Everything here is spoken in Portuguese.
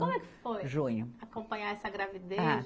Como é que foi. Junho. Acompanhar essa gravidez? Ah